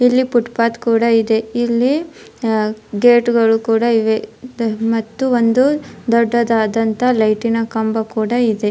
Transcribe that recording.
ಇಲ್ಲಿ footpath ಕೂಡ ಇದೆ ಇಲ್ಲಿ ಗೇಟ್ ಗಳು ಕೂಡ ಇವೆ ಮತ್ತು ಒಂದು ದೊಡ್ಡ ದಾದಂತಹ ಲೈಟಿನ ಕಂಬ ಕೂಡ ಇದೆ.